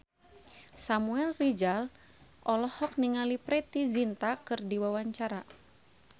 Samuel Rizal olohok ningali Preity Zinta keur diwawancara